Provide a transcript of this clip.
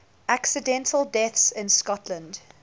accidental deaths in scotland